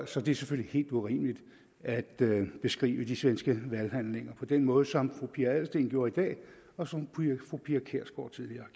så det er selvfølgelig helt urimeligt at beskrive de svenske valghandlinger på den måde som fru pia adelsteen gjorde i dag og som fru pia kjærsgaard tidligere